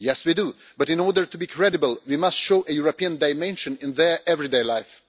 Yes, we do, but in order to be credible we must show a European dimension in their everyday lives.